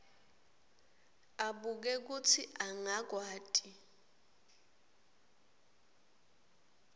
abuke kutsi angakwati